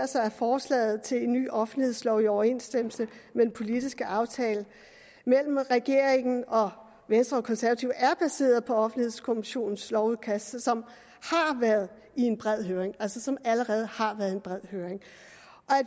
sig at forslaget til en ny offentlighedslov i overensstemmelse med den politiske aftale mellem regeringen og venstre og konservative er baseret på offentlighedskommissionens lovudkast som har været i en bred høring som altså allerede har været i en bred høring